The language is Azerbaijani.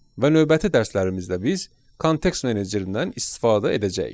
Və növbəti dərslərimizdə biz kontekst menecerindən istifadə edəcəyik.